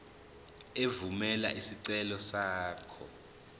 evumela isicelo sakho